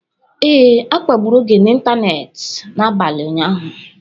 Ee, a kpagburu Oge n'ịntanetị n’abalị ụnyaahụ.